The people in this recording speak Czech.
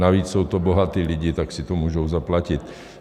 Navíc jsou to bohatí lidé, tak si to můžou zaplatit.